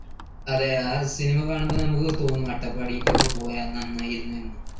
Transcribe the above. അതെ ആ cinema കാണുമ്പോൾ നമുക്ക് തോന്നും അട്ടപ്പാടിക്ക് ഒക്കെ പോയാൽ നന്നായിരുന്നു എന്ന്